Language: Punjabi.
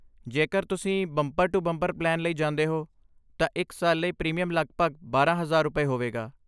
ਜੇਕਰ ਤੁਸੀਂ ਬੰਪਰ ਟੂ ਬੰਪਰ ਪਲਾਨ ਲਈ ਜਾਂਦੇ ਹੋ, ਤਾਂ ਇੱਕ ਸਾਲ ਲਈ ਪ੍ਰੀਮੀਅਮ ਲਗਭਗ ਬਾਰਾਂ ਹਜ਼ਾਰ ਰੁਪਏ, ਹੋਵੇਗਾ